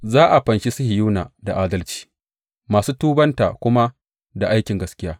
Za a fanshi Sihiyona da adalci, masu tubanta kuma da aikin gaskiya.